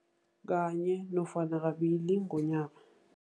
Kanye nofana kabili ngonyaka.